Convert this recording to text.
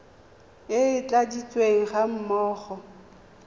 e e tladitsweng ga mmogo